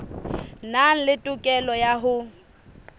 nang le tokelo ya ho